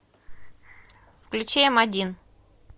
включи м один